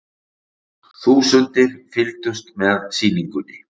Þúsundir fylgdust með sýningunni